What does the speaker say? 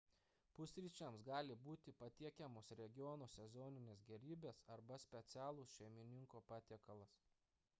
pusryčiams gali būti patiekiamos regiono sezoninės gerybės arba specialus šeimininko patiekalas